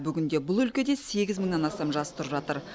бүгінде бұл өлкеде сегіз мыңнан астам жас тұрып жатыр